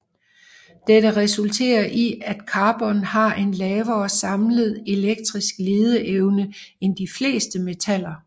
Dette resulterer i at carbon har en lavere samlet elektrisk ledeevne end de fleste metaller